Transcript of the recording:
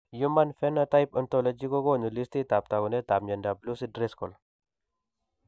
Human Phenotype Ontologyv kokoonu listiitab taakunetab myondap Lucey Driscoll.